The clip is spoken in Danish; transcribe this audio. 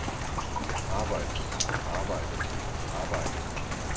arbejde arbejde arbejde